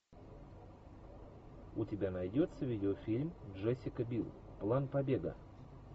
у тебя найдется видеофильм джессика бил план побега